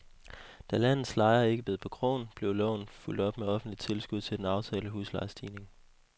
Da landets lejere ikke bed på krogen, blev loven fulgt op med offentligt tilskud til den aftalte huslejestigning.